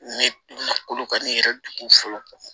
Ne donna kolo ka ne yɛrɛ don fɔlɔ